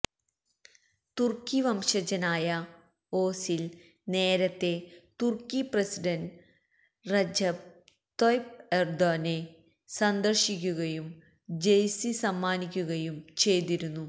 തുര്ക്കി വംശജനായ ഓസില് നേരത്തേ തുര്ക്കി പ്രസിഡന്റ് റജബ് തൊയ്ബ് എര്ദോഗനെ സന്ദര്ശിക്കുകയും ജഴ്സി സമ്മാനിക്കുകയും ചെയ്തിരുന്നു